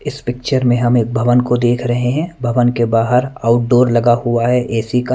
इस पिक्चर में हम एक भवन को देख रहे हैं भवन के बाहर आउटडोर लगा हुआ है ए_सी का--